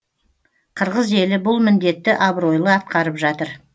қырғыз елі бұл міндетті абыройлы атқарып жатыр